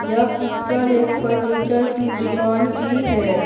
यह पिक्चर एक फर्नीचर कि दुकान की है।